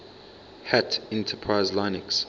hat enterprise linux